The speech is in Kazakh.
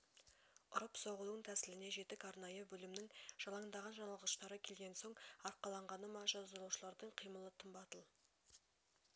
ұрып-соғудың тәсіліне жетік арнайы бөлімнің жалаңдаған жаналғыштары келген соң арқаланғаны ма жазалаушылардың қимылы тым батыл